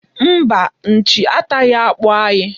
Mba, nchi ataghị akpụ anyị.